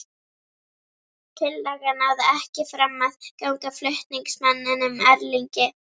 Tillagan náði ekki fram að ganga flutningsmanninum, Erlingi